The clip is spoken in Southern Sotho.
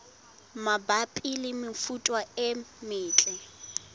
mabapi le mefuta e metle